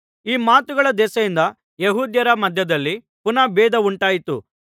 ಈ ಮಾತುಗಳ ದೆಸೆಯಿಂದ ಯೆಹೂದ್ಯರ ಮಧ್ಯದಲ್ಲಿ ಪುನಃ ಬೇಧ ಉಂಟಾಯಿತು